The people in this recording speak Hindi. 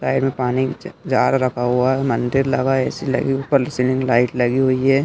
साइड में पानी जा जार लगा हुआ है मंदिर लगा ए_सी लगी ऊपर सीलिंग लाइट लगी हुई हैं।